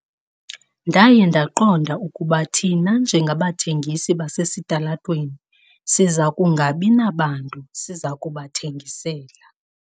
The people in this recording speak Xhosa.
Ndaye ndaqonda ukuba thina njengabathengisi basesitalatweni siza kungabi nabantu siza kubathengisela.